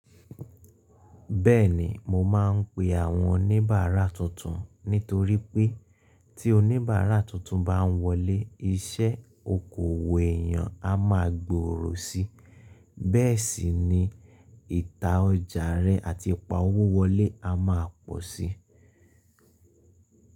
Bẹ́ẹ̀ni, mo máa ń pe àwọn oníbàárà tuntun nítorí pé tí oníbàárà tuntun bá ń wọlé, iṣẹ́ okoòwò èèyàn a máa gbòòrò si. Bẹ́ẹ̀ sì ni ìta ọjà rẹ àti ipa owó wọlé a máa pọ̀ sí.